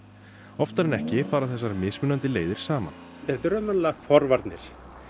oftar en ekki fara þessar mismunandi leiðir saman þetta eru raunverulega forvarnir